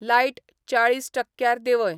light चाळीस टक्क्यार देंवय